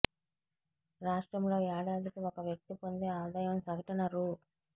రాష్ట్రంలో ఏడాదికి ఒక వ్యక్తి పొందే ఆదాయం సగటున రూ